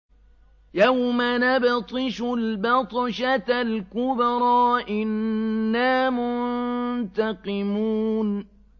يَوْمَ نَبْطِشُ الْبَطْشَةَ الْكُبْرَىٰ إِنَّا مُنتَقِمُونَ